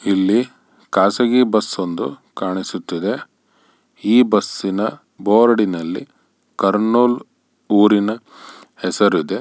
ಇಲ್ಲಿ ಖಾಸಗಿ ಬಸ್ಸೊಂದು ಕಾಣಿಸುತ್ತಿದೆ ಈ ಬಸ್ಸಿನ ಬೋರ್ಡಿನಲ್ಲಿ ಕರ್ನೂಲ್ ಊರಿನ ಹೆಸರಿದೆ.